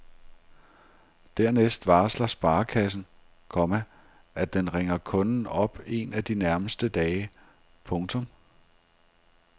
Dernæst varsler sparekassen, komma at den ringer kunden op en af de nærmeste dage. punktum